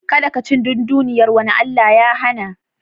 Kada kaci dunduniyar wani Allah ya hana.